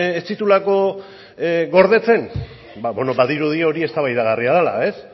ez dituelako gordetzen ba bueno badirudi hori eztabaidagarria dela